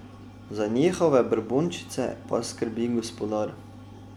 Za njihove brbončice pa skrbi gospodar.